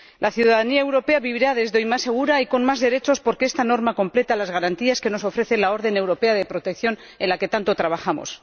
La ciudadanía europea vivirá, desde hoy, más segura y con más derechos, porque esta norma completa las garantías que nos ofrece la orden europea de protección en la que tanto trabajamos.